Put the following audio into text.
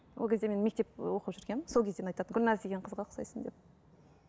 ол кезде мен мектеп ы оқып жүргенмін сол кезден айтады гүлназ деген қызға ұқсайсың деп